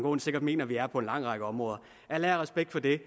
aaen sikkert mener vi er på en lang række områder al ære og respekt for det